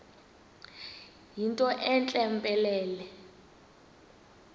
yinto entle mpelele